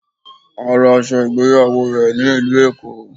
Ó ra aṣọ ìgbéyàwó rè ní ìlú Èkó